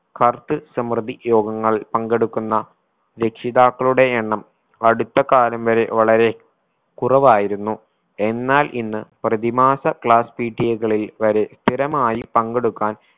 കർത്ത് സമൃദ്ധി യോഗങ്ങൾ പങ്കെടുക്കുന്ന രക്ഷിതാക്കളുടെ എണ്ണം അടുത്ത കാലം വരെ വളരെ കുറവായിരുന്നു എന്നാൽ ഇന്ന് പ്രതിമാസ classPTA കളിൽ വരെ സ്ഥിരമായി പങ്കെടുക്കാൻ